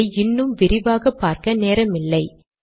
இதை இன்னும் விரிவாக பார்க்க நேரமில்லை